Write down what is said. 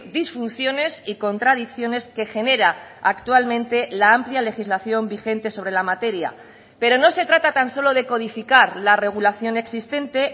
disfunciones y contradicciones que genera actualmente la amplia legislación vigente sobre la materia pero no se trata tan solo de codificar la regulación existente